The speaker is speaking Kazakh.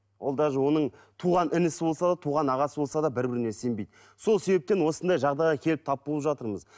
ол даже оның туған інісі болса да туған ағасы болса да бір біріне сенбейді сол себептен осындай жағдайға келіп тап болып жатырмыз